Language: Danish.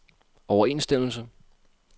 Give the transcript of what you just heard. overensstemmelse